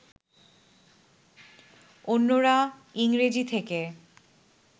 অন্যরা ইংরেজি থেকে